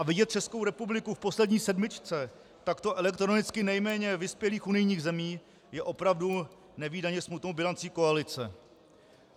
A vidět Českou republiku v poslední sedmičce takto elektronicky nejméně vyspělých unijních zemí je opravdu nevídaně smutnou bilancí koalice.